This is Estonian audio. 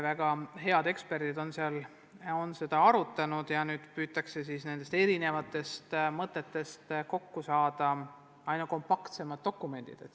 Väga head eksperdid on seda arutanud ja nüüd püütakse nende erinevate mõtete alusel kokku seada kompaktsed dokumendid.